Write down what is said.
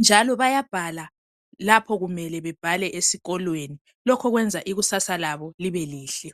njalo bayabhala lapho kumele bebhale esikolweni. Lokho kwenza ikusasa labo libe lihle.